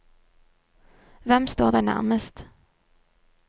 Hvem står deg nærmest?